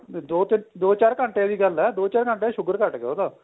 ਦੋ ਤਿੰਨ ਦੋ ਚਾਰ ਘੰਟਿਆਂ ਦੀ ਗੱਲ ਏ ਦੋ ਚਾਰ ਘੰਟੇ ਚ sugar ਘੱਟ ਗਿਆ ਉਹਦਾ